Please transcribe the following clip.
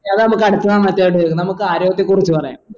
എതാ നമക്ക് അടുത്തതവണ നമുക്ക് ആരോഗ്യത്തെ കുറിച്ച് പറയാം